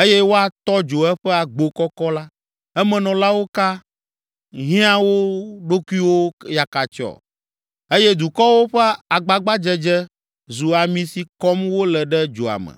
eye woatɔ dzo eƒe agbo kɔkɔ la, emenɔlawo ka hiã wo ɖokuiwo yakatsyɔ eye dukɔwo ƒe agbagbadzedze zu ami si kɔm wole ɖe dzoa me.”